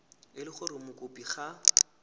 e le gore mokopi ga